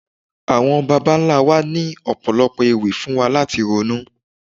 Àwọn bàbá ńlá wa ní Ọ̀pọ̀lọ́pọ̀ ewì fún wa láti ronú.